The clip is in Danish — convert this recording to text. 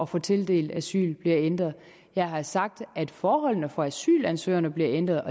få tildelt asyl bliver ændret jeg har sagt at forholdene for asylansøgerne bliver ændret